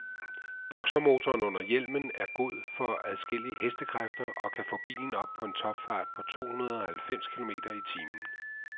Boxermotoren under hjelmen er god for adskillige hk og kan få bilen op på en topfart på tohundrede halvfems kilometer i timen.